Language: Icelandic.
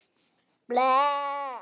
Mörg ár síðan.